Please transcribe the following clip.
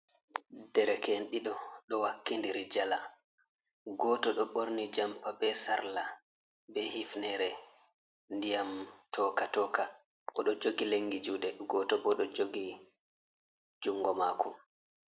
Ɗereke en ɗiɗo ɗo wakkindiri njala. Goto ɗo borni jampa be sarla be hifnere, ndiyam toka-toka. oɗo jogi lengi juɗe goto bo ɗo jogi jungo mako.